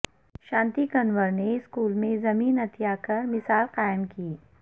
شانتی کنورنے اسکول میں زمین عطیہ کرمثال قائم کی